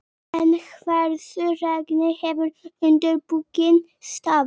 Ævar, hvað er á dagatalinu í dag?